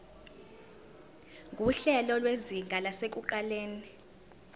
nguhlelo lwezinga lasekuqaleni